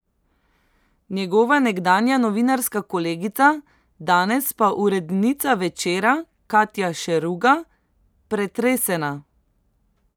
Njegova nekdanja novinarska kolegica, danes pa urednica Večera Katja Šeruga: "Pretresena.